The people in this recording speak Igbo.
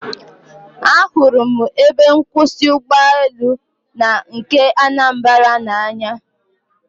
Ahụrụ m ebe nkwụsị ụgbọelu nke Anambra n'anya